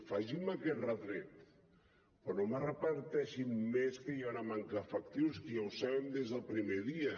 facin me aquest retret però no em repeteixin més que hi ha una manca d’efectius que ja ho sabem des del primer dia